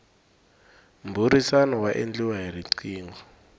mbhurisano wa endliwa hi rqingho